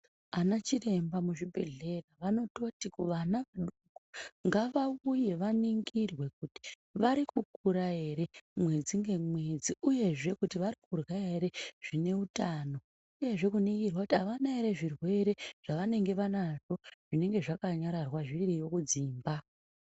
Ana chiremba mu zvibhedhleya vanototi kuvana vadoko ngavauye vaningirwe kuti vari kukura ere mwedzi nge mwedzi uyezve kuti vari kurya ere zvine utano uyezve kuningirwa kuti avana ere zvirwere zvavanenge vanazvo zvinenge zvaka nyararwa zviriyo kudzimba.